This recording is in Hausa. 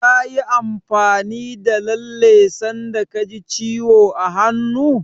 Kayi amfani da lalle sanda ka ji ciwo a hannu?